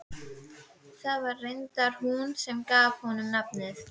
Það var reyndar hún sem gaf honum nafnið.